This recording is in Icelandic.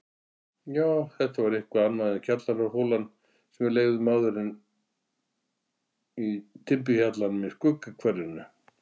Já, þetta var eitthvað annað en kjallaraholan sem við leigðum áður í timburhjallinum í Skuggahverfinu.